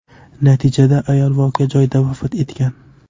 Natijada ayol voqea joyida vafot etgan.